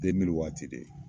waati de